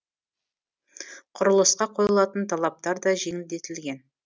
құрылысқа қойылатын талаптар да жеңілдетілген